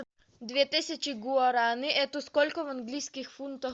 две тысячи гуарани это сколько в английских фунтах